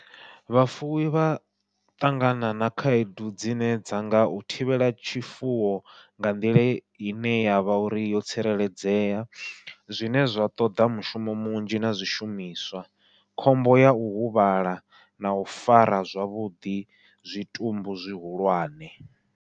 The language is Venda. Vhafuwi vha ṱangana na khaedu dzine dza nga u thivhela tshifuwo nga nḓila ine yavha uri yo tsireledzea, zwine zwa ṱoḓa mushumo munzhi na zwishumiswa khombo yau huvhala nau fara zwavhuḓi zwitumbu zwihulwane.